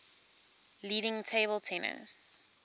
leading table tennis